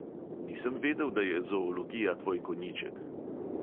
Nisem vedel, da je zoologija tvoj konjiček.